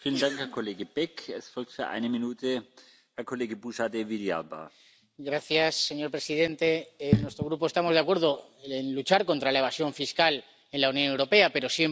Señor presidente, en nuestro Grupo estamos de acuerdo con luchar contra la evasión fiscal en la Unión Europea, pero siempre que ello se base, obviamente, en un sistema de cooperación voluntaria y libre por parte de los Estados miembros.